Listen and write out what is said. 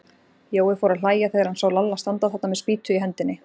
Jói fór að hlæja þegar hann sá Lalla standa þarna með spýtu í hendinni.